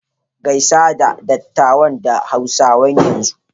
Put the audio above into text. Gaisa da dattawan da Hausa yanzu!